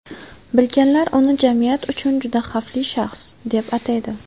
Bilganlar uni jamiyat uchun juda xavfli shaxs, deb ataydi.